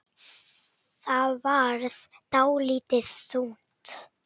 Það varð dálítið þunnt.